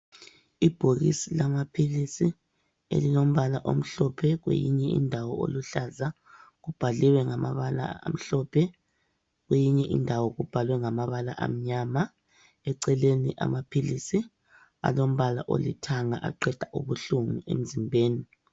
Ibhokisi lamaphilisi elilombala omhlophe kweyinye indawo oluhlaza ubhaliwe ngamabala amhlophe kweyinye indawo kubhaliwe ngamabala amnyama eceleni amaphilisi alombala olithanga aqeda ubuhlungu emzimbeni.